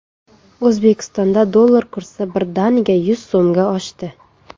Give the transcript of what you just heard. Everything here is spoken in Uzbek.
O‘zbekistonda dollar kursi birdaniga yuz so‘mga oshdi.